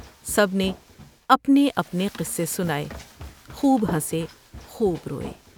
سب نے اپنے اپنے قصے سناۓ ، خوب سے خوب روۓ ۔